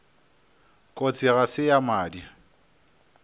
kotsi ga se ya madi